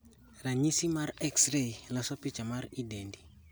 Ranyisi mar X ray loso picha mar i dendi